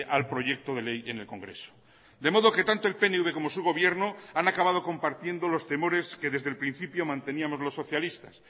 al proyecto de ley en el congreso de modo que tanto el pnv como su gobierno han acabado compartiendo los temores que desde el principio manteníamos los socialistas